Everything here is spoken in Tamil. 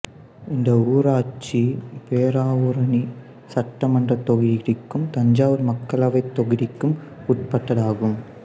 இந்த ஊராட்சி பேராவூரணி சட்டமன்றத் தொகுதிக்கும் தஞ்சாவூர் மக்களவைத் தொகுதிக்கும் உட்பட்டதாகும்